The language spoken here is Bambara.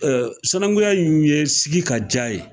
sanankuya in ye sigi ka diya ye